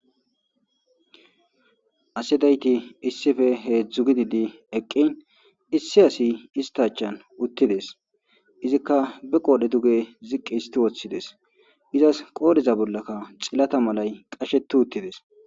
asi dayti issife heedzdzu gididi eqqin issi asi ista achan uttides izikka be qoodhe duge ziqqi histi woththides izas qooriza bollakka xillata malay qasheti uttides